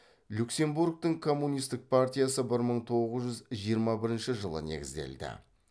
люксембургтің коммунистік партиясы бір мың тоғыз жүз жиырма бірінші жылы негізделді